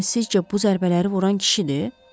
Yəni sizcə bu zərbələri vuran kişidir?